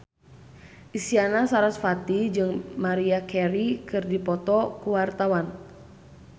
Isyana Sarasvati jeung Maria Carey keur dipoto ku wartawan